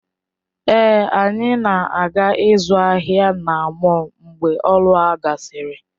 Èé, anyị na-aga ịzụ ahịa na mọll mgbe ọrụ a gasịrị.